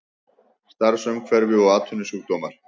Starfsumhverfi og atvinnusjúkdómar.